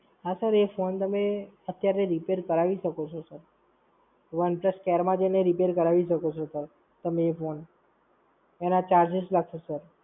હાં સર, એ Phone તમે અત્યારે Repair કરાવી શકો છો sir One Plus સ્કવેરમાં જઈને Repair કરાવી શકો છો Sir, તમે એ Phone. એના charges લાગશે Sir.